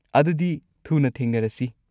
ꯑꯗꯨꯗꯤ ꯊꯨꯅ ꯊꯦꯡꯅꯔꯁꯤ!